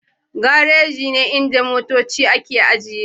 Garaji ne inda motoci ke ajiyewa